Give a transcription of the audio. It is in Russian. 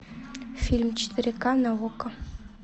фильм четыре ка на окко